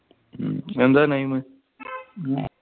എന്താ name